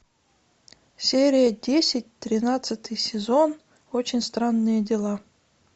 серия десять тринадцатый сезон очень странные дела